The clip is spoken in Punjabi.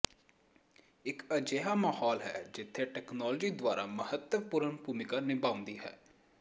ਇਕ ਅਜਿਹਾ ਮਾਹੌਲ ਹੈ ਜਿੱਥੇ ਤਕਨਾਲੋਜੀ ਦੁਆਰਾ ਮਹੱਤਵਪੂਰਨ ਭੂਮਿਕਾ ਨਿਭਾਉਂਦੀ ਹੈ